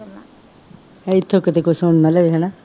ਇੱਥੋਂ ਕਿਤੇ ਕੋਈ ਸੁਣ ਨਾ ਲਵੇ ਹੈ ਨਾ